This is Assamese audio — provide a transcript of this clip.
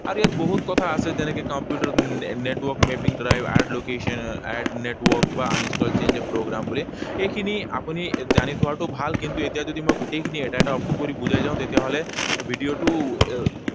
আৰু ইয়াত বহুত কথা আছে। যেনেকৈ computer network mapping drive, add location, add network, বা uninstall change of program বুলি। এইখিনি আপুনি জানি থোৱাটো ভাল। কিন্তু এতিয়া যদি মই গোটেইখিনি এটা এটা option কৰি বুজাই যাও, তেতিয়াহলে ভিডিঅটো